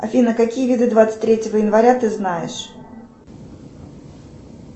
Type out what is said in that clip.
афина какие виды двадцать третьего января ты знаешь